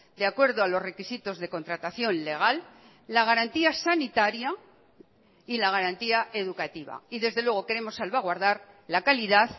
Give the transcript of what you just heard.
de acuerdo a los requisitos de contratación legal la garantía sanitaria y la garantía educativa y desde luego queremos salvaguardar la calidad